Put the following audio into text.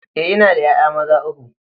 Eh ina da 'ya'ya maza uku.